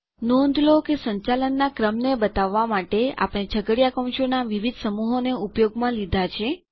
નોંધ લો કે સંચાલનનાં ક્રમને જાણવા માટે આપણે છગડીયા કૌંસોનાં વિવિધ સમૂહોને ઉપયોગમાં લીધા છે